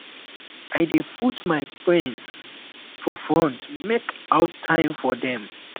i dey put my friends for front make out time for dem